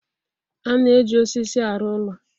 A na-eji osisi arụ ụlọ.